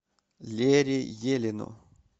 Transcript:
лере елину